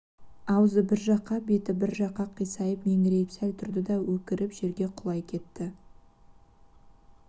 аузы бір жаққа беті бір жаққа қисайып меңірейіп сәл тұрды да өкіріп жерге құлай кетті